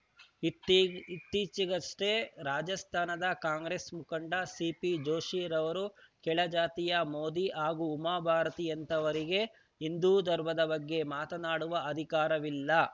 ಇತ್ತೀಚೆಗಷ್ಟೇ ರಾಜಸ್ಥಾನದ ಕಾಂಗ್ರೆಸ್‌ ಮುಖಂಡ ಸಿಪಿ ಜೋಶಿ ಅವರು ಕೆಳಜಾತಿಯ ಮೋದಿ ಹಾಗೂ ಉಮಾ ಭಾರತಿಯಂಥವರಿಗೆ ಹಿಂದೂ ಧರ್ಮದ ಬಗ್ಗೆ ಮಾತನಾಡುವ ಅಧಿಕಾರವಿಲ್ಲ